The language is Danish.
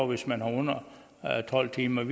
hvis man har under tolv timer